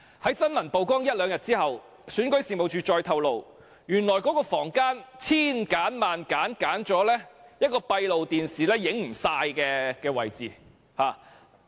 在新聞曝光後一兩天，選舉事務處再透露，原來那間房間幾經挑選，才選擇了一個閉路電視不能完全拍攝的位置。